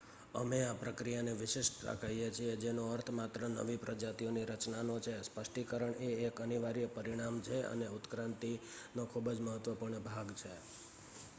અમે આ પ્રક્રિયાને વિશિષ્ટતા કહીએ છીએ જેનો અર્થ માત્ર નવી પ્રજાતિઓની રચનાનો છે સ્પષ્ટીકરણ એ એક અનિવાર્ય પરિણામ છે અને ઉત્ક્રાંતિનો ખૂબ જ મહત્વપૂર્ણ ભાગ છે